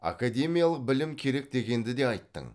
академиялық білім керек дегенді де айттың